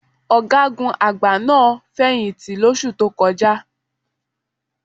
Ọ̀gágun àgbà náà fẹ̀yìǹtì lóṣù tó kọjá.